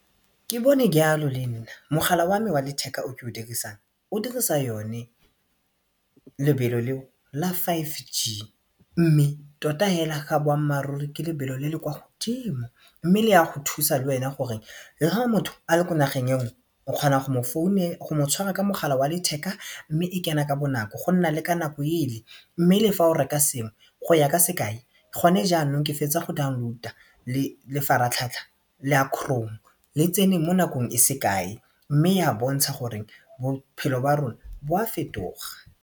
Ke bone ke jalo le nna mogala wa me wa letheka o ke o dirisang o dirisa yone lebelo le la five g mme tota hela ga boammaaruri ke lebelo le le kwa godimo mme le ya go thusa le wena gore le ha motho a le ko nageng enngwe o kgona go mo tshwara ka mogala wa letheka mme e kena ka bonako go nna le ka nako ele mme le fa o reka sengwe go ya ka sekai gone jaanong ke fetsa go download-a lefaratlhatlha la chrome le tsene mo nakong e se kae mme e a bontsha gore bophelo ba rona bo a fetoga.